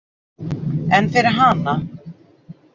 En fyrir hana?